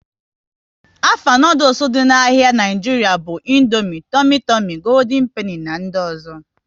Afa noodules dị n'ahia Nigeria bụ Indomie, Tumi Tumi, Gooldin Peni na ndị ọzọ